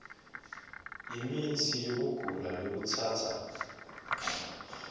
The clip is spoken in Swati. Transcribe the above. temitsi yekugula lokutsatsa